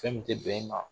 Fɛn min tɛ bɛn e ma